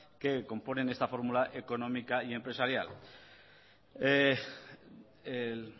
que componen esta fórmula económica y empresarial